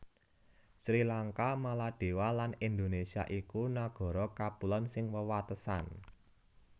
Sri Lanka Maladewa lan Indonésia iku nagara kapulon sing wewatesan